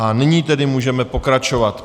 A nyní tedy můžeme pokračovat.